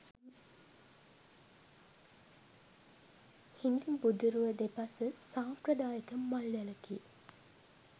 හිඳි බුදුරුව දෙපස සම්ප්‍රදායික මල් වැලකි